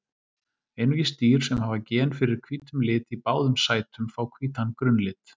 Einungis dýr sem hafa gen fyrir hvítum lit í báðum sætum fá hvítan grunnlit.